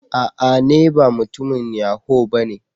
A'a! ne ba mutumin yahoo ba.